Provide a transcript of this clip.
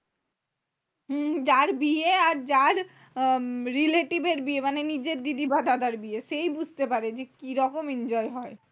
হম যার বিয়ে আর যার আহ relative এর বিয়ে মানে নিজের দিদি বা দাদার বিয়ে। সেই বুঝতে পারে যে, কিরকম enjoy হয়?